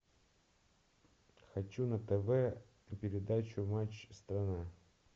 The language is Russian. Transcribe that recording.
хочу на тв передачу матч страна